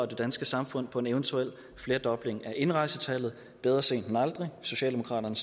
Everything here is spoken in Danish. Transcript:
danske samfund på en eventuel flerdobling af indrejsetallet bedre sent end aldrig socialdemokraterne